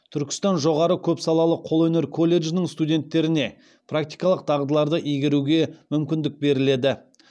түркістан жоғары көпсалалы қолөнер колледжінің студенттеріне практикалық дағдыларды игеруге мүмкіндік беріледі